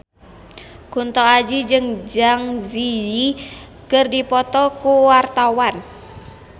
Kunto Aji jeung Zang Zi Yi keur dipoto ku wartawan